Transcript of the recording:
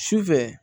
Sufɛ